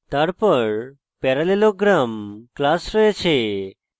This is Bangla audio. তারপর parallelogram class রয়েছে